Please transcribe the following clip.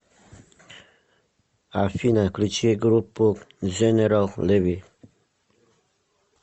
афина включи группу дженерал леви